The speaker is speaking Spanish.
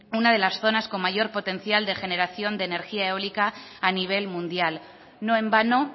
una de las zonas de mayor potencial de generación de energía eólica a nivel mundial no en vano